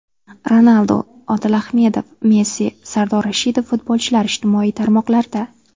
Ronaldu, Odil Ahmedov, Messi, Sardor Rashidov: futbolchilar ijtimoiy tarmoqlarda.